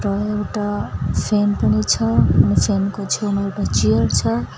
र एउटा फ्यान पनि छ अनि फ्यान को छेउमा एउटा चेयर छ।